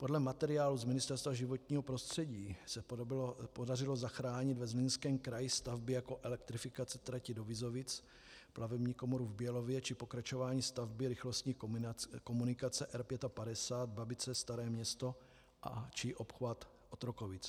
Podle materiálu z Ministerstva životního prostředí se podařilo zachránit ve Zlínském kraji stavby jako elektrifikace trati do Vizovic, plavební komoru v Bělově či pokračování stavby rychlostní komunikace R55, Babice - Staré Město či obchvat Otrokovic.